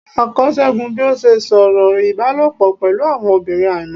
a kọ según bi o ṣe sọ̀rọ̀ ibálopọ pẹlu awọn obirin aimọ.